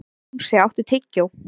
Jónsi, áttu tyggjó?